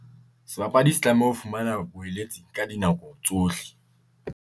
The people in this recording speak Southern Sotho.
Sebapadi se tlameha ho fumana ka dinako tsohle.